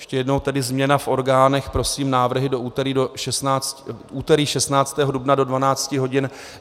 Ještě jednou tedy - změna v orgánech, prosím návrhy do úterý 16. dubna do 12 hodin.